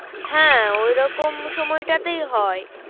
হ্যাঁ ওই রকম সময়টাতেই হয়।